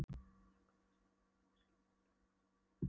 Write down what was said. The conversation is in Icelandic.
Hún sá Gamla sitja hokinn við skrifpúltið baðaðan dýrlegum geislum.